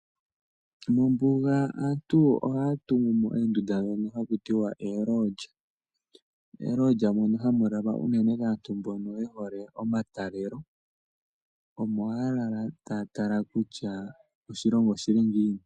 Mombuga aantu ohaya tungu mo oondunda ndhono haku tiwa oolodya. Oolodya mono hamu lalwa kaantu mbono ye hole omatalelo. Omo haya lala taya tala kutya oshilongo oshi li ngiini.